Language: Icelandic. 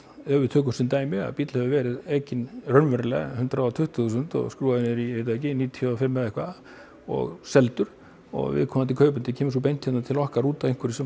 ef við tökum sem dæmi að bíll hefur verið ekinn raunverulega hundrað og tuttugu þúsund og skrúfaður niður í ég veit ekki níutíu og fimm eða eitthvað og seldur og viðkomandi kaupandi kemur beint til okkar út af einhverju sem